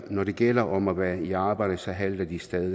når det gælder om at være i arbejde så halter de stadig